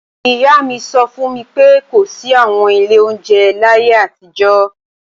Ìyá mi sọ fún mi pé kò sí àwọn ilé oúnjẹ láyé àtijọ́